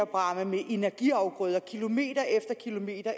bræmme med energiafgrøder kilometer efter kilometer